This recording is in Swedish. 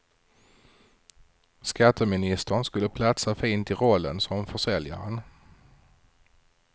Skatteministern skulle platsa fint i rollen som försäljaren.